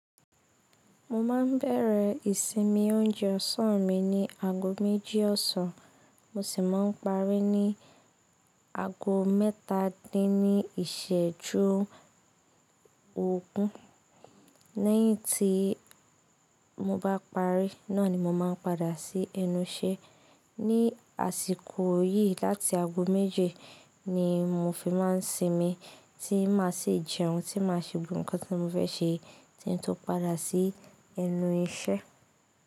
Mo máa ń bẹ̀rẹ̀ ìsinmi oúnjẹ ọ̀sán mi ní ago méjì ọ̀sán, mo sì máa ń parí ní ago mẹ́ta dín ní ìṣẹ́jú ògún. Lẹ́yìn tí mo bá parí, náà ni mo máa ń padà sí ẹnu iṣẹ́. Ní àsìkò yìí láti ago méje ni mo fi máa ń sinmi tí máa sì jẹun tí máa se gbogbo nǹkan tí mo fẹ́ ṣe tí n tó padà sí ẹnu iṣẹ́.